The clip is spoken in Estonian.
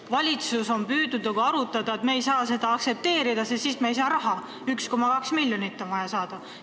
Valitsus on nagu arutanud, et me ei saa seda aktsepteerida, sest siis me ei saa vajalikku raha – 1,2 miljonit on vaja saada.